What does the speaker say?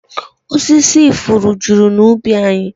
Osisi ifuru juru n'ubi anyị